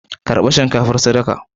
Karba shinkafar sadaka